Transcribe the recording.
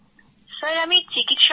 sir আমি চিকিত্সক হতে চাই